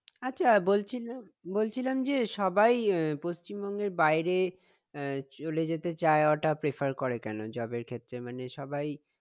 আচ্ছা বলছি~বলছিলাম যে সবাই আহ পশ্চিমবঙ্গের বাইরে আহ চলে যেতে যায় ওটা prefer করে কেনো job এর জন্য ক্ষেত্রে মানে সবাই